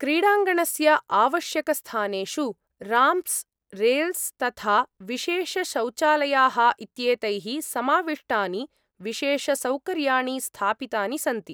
क्रीडाङ्गणस्य आवश्यकस्थानेषु ramps, rails, तथा विशेषशौचालयाः इत्येतैः समाविष्टानि विशेषसौकर्याणि स्थापितानि सन्ति।